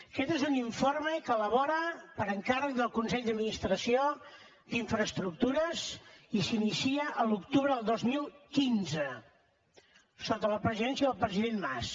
aquest és un informe que s’elabora per encàrrec del consell d’administració d’infraestructures i s’inicia a l’octubre del dos mil quinze sota la presidència del president mas